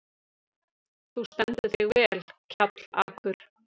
Þú stendur þig vel, Kjallakur!